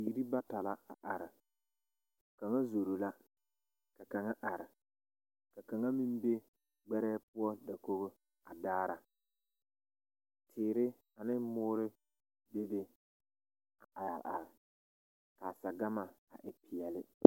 Bibiiri bata la a are kaŋa zoro la ka kaŋa are ka kaŋa meŋ be ɡbɛrɛɛ dakoɡi poɔ a daara teere ane moori bebe a areare ka a saɡama e peɛle.